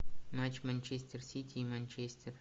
матч манчестер сити и манчестер